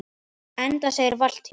Enda segir Valtýr